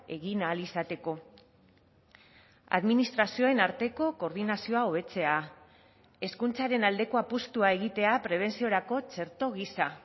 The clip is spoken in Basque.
egin ahal izateko administrazioen arteko koordinazioa hobetzea hezkuntzaren aldeko apustua egitea prebentziorako txerto gisa